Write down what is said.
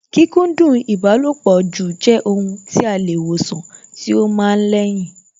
Kí kókúndùn ìbálòpọ̀ jù jẹ́ ohun tí a lè wòsàn tí ó ma ń lẹ́yìn